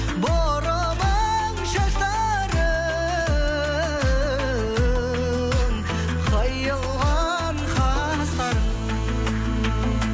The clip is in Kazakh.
бұрымың шаштарың қиылған қастарың